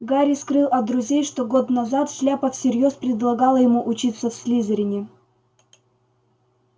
гарри скрыл от друзей что год назад шляпа всерьёз предлагала ему учиться в слизерине